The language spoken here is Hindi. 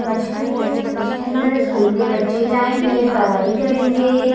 बस खड़ी है। बस के अंदर स्कूल के बच्चे जाएंगे। पढ़ाई करेंगे।